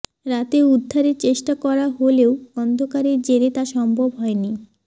রাতে উদ্ধারের চেষ্টা করা হলেও অন্ধকারের জেরে তা সম্ভব হয়নি